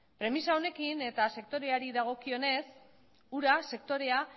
premisa honekin eta sektoreari dagokionez ura sektorea